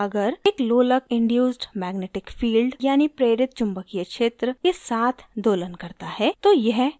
अगर एक लोलक induced magnetic field यानि प्रेरित चुम्बकीय क्षेत्र के साथ दोलन करता है तो यह driven pendulum यानि चालित लोलक कहलाता है